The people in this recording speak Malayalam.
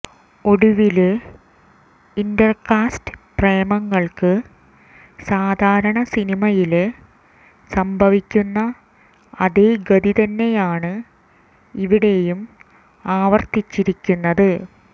ഒടുവില് ഇന്റര്കാസ്റ്റ് പ്രേമങ്ങള്ക്ക് സാധാരണ സിനിമയില് സംഭവിക്കുന്ന അതേ ഗതി തന്നെയാണ് ഇവിടെയും ആവര്ത്തിച്ചിരിക്കുന്നത്